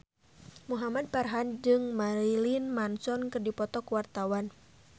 Muhamad Farhan jeung Marilyn Manson keur dipoto ku wartawan